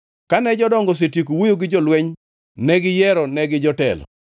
Kane jodongo osetieko wuoyo gi jolweny negiyiero negi jotelo.